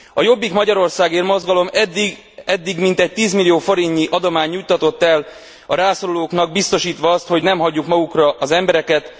A Jobbik Magyarországért Mozgalom eddig mintegy 10 millió forintnyi adományt juttatott el a rászorulóknak, biztosítva azt, hogy nem hagyjuk magukra az embereket.